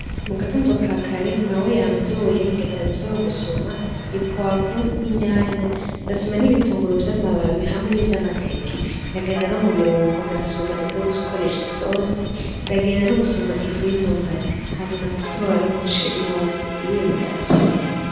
Mu gatondo ka kare mawe yamvyuye ngenda mw'isoko gusuma ipwavuro n'itomati, ndasuma n'ibitunguru vy'amababi hamwe ni vy'amateke, ndagenda no mu birungo ndasuma ivyo gukoresha isosi, ndagenda no gusuma ifu y'imyumbati hanyuma ndatora n'umuceri wose ibiro bitatu.